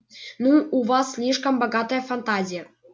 ну у вас слишком богатая фантазия